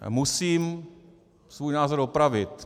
Musím svůj názor opravit.